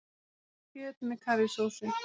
Kjöt með karrísósu